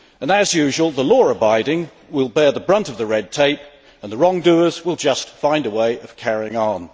As usual, the law abiding will bear the brunt of the red tape, and wrongdoers will just find a way of carrying on.